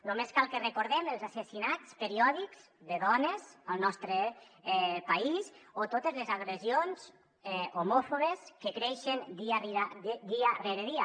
només cal que recordem els assassinats periò·dics de dones al nostre país o totes les agressions homòfobes que creixen dia rere dia